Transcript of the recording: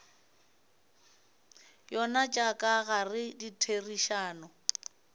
yona tša ka gare ditherišano